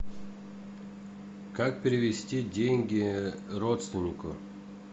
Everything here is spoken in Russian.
как перевести деньги родственнику